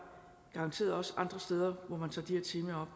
garanteret også andre steder hvor man tager de her temaer